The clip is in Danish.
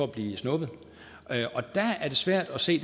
blive snuppet der er det svært at se